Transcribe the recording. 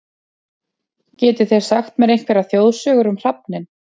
Getið þið sagt mér einhverjar þjóðsögur um hrafninn?